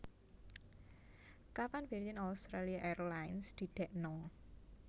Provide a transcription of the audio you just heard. Kapan Virgin Australia Airlines didekno